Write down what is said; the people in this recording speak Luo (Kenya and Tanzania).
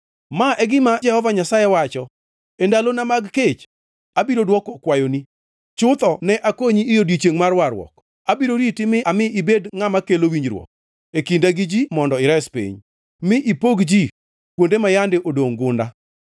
Ma e gima Jehova Nyasaye wacho, “E ndalona mag kech abiro dwoko kwayoni, chutho ne akonyi e odiechiengʼ mar warruok; abiro riti mi ami ibed ngʼama kelo winjruok e kinda gi ji mondo ires piny, mi ipog ji kuonde ma yande odongʼ gunda,